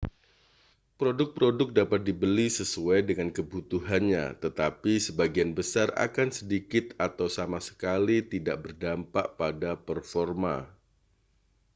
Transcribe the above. produk-produk dapat dibeli sesuai dengan kebutuhannya tetapi sebagian besar akan sedikit atau sama sekali tidak berdampak pada performa